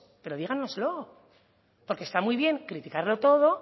pero díganoslo porque está muy bien criticarlo todo